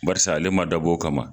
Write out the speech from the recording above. Barisa ale ma dabɔ o kama